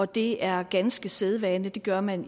det er ganske sædvane det gør man